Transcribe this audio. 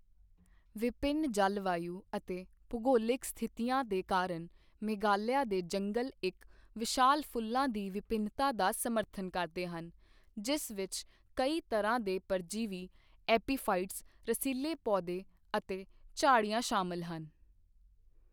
ਵਿਭਿੰਨ ਜਲਵਾਯੂ ਅਤੇ ਭੂਗੋਲਿਕ ਸਥਿਤੀਆਂ ਦੇ ਕਾਰਨ, ਮੇਘਾਲਿਆ ਦੇ ਜੰਗਲ ਇੱਕ ਵਿਸ਼ਾਲ ਫੁੱਲਾਂ ਦੀ ਵਿਭਿੰਨਤਾ ਦਾ ਸਮਰਥਨ ਕਰਦੇ ਹਨ, ਜਿਸ ਵਿੱਚ ਕਈ ਤਰ੍ਹਾਂ ਦੇ ਪਰਜੀਵੀ, ਐਪੀਫਾਈਟਸ, ਰਸੀਲੇ ਪੌਦੇ ਅਤੇ ਝਾੜੀਆਂ ਸ਼ਾਮਲ ਹਨ।